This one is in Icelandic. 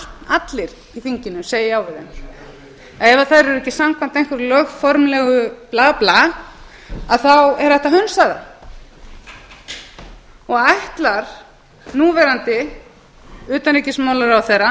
allir í þinginu segi já við þeim að ef þær eru ekki samkvæmt einhverju lögformlegu bla bla er hægt að hunsa þær ætlar núverandi utanríkisráðherra